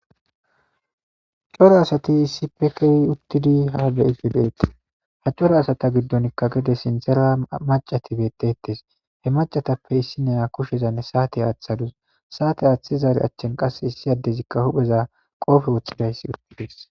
Coora assati issipetethani utidi ha beyishe dossonako ha corra assata giddoni gede sinithara maccati bettosona he maccatappe issiniya kushezani satte athadusi sate athidari achanika issi adezi qobe wothidesi